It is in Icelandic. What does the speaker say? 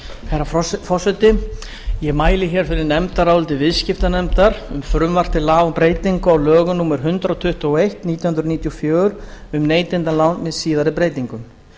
herra forseti ég mæli fyrir nefndaráliti viðskiptanefndar um frumvarp til laga um breytingu á lögum númer hundrað tuttugu og eitt nítján hundruð níutíu og fjögur um neytendalán með síðari breytingum